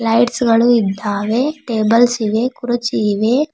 Lights ಗಳು ಇದ್ದಾವೆ tables ಇವೆ ಕುರ್ಚಿ ಇವೆ.